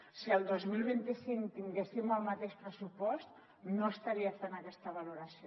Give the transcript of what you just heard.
si el dos mil vint cinc tinguéssim el mateix pressupost no estaria fent aquesta valoració